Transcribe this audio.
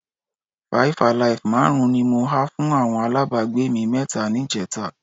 Five-alive márùn-ún ni mo ha fún àwọn alábàágbé mi mẹ́ta níjẹta